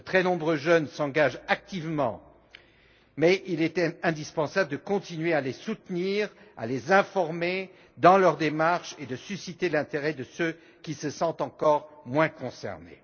2030. De très nombreux jeunes s'engagent activement, mais il était indispensable de continuer à les soutenir, à les informer dans leur démarche, et de susciter l'intérêt de ceux qui se sentent encore moins concernés.